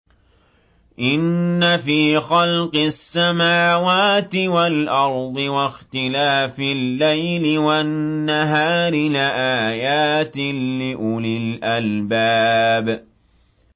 إِنَّ فِي خَلْقِ السَّمَاوَاتِ وَالْأَرْضِ وَاخْتِلَافِ اللَّيْلِ وَالنَّهَارِ لَآيَاتٍ لِّأُولِي الْأَلْبَابِ